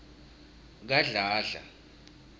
kadladla